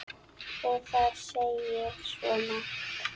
Og það segir svo margt.